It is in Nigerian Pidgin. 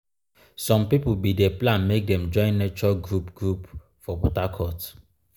some pipo bin dey plan make dem join nature group group for port harecourt.